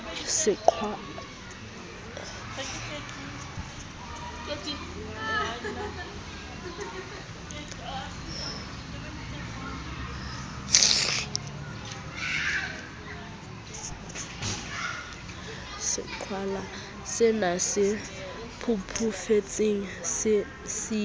seqhwalasena se pudufetseng se siileng